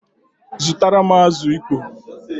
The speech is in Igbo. Zutaram azụ ịkpọ!